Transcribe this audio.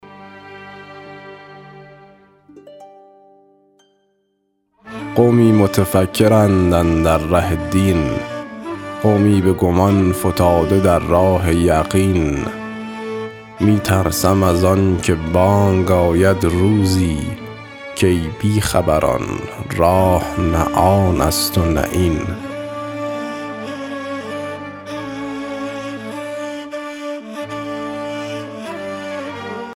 قومی متفکرند اندر ره دین قومی به گمان فتاده در راه یقین می ترسم از آن که بانگ آید روزی کای بی خبران راه نه آن است و نه این